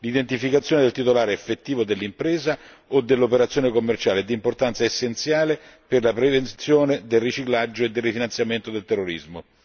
L'identificazione del titolare effettivo dell'impresa o dell'operazione commerciale è di importanza essenziale per la prevenzione del riciclaggio e del rifinanziamento del terrorismo.